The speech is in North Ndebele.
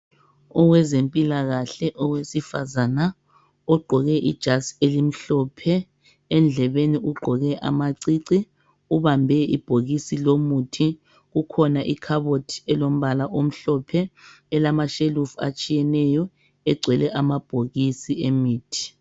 Owezempilakahle owesifazana ugqoke ijazi elimhlophe endlebeni ugqoke amacici ubambe ibhokisi lomuthi kukhona ikhabothi elombala omhlophe elamashelufu atshiyeneyo egcwele amabhokisi emithi.